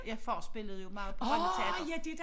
Ja far spillede jo meget på Rønne teater